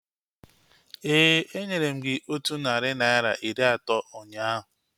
Éè, enyere m gị otú narị naira iri atọ ụnyaahụ